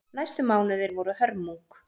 Næstu mánuðir voru hörmung.